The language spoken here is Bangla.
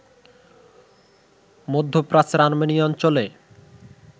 মধ্যপ্রাচ্যের আর্মেনিয়া অঞ্চলে